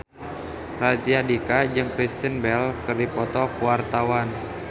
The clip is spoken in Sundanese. Raditya Dika jeung Kristen Bell keur dipoto ku wartawan